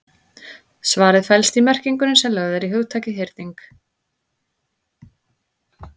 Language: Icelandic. Svarið felst í merkingunni sem lögð er í hugtakið hyrning.